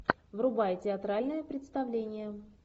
врубай театральное представление